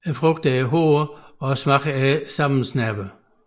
Frugterne er hårde og smagen er sammensnerpende